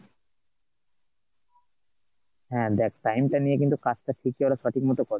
হ্যাঁ দেখ time টা নিয়ে কিন্তু কাজটা ঠিকই ওরা সঠিকমতো করে